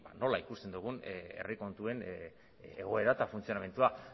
nola ikusten dugun herri kontuen egoera eta funtzionamendua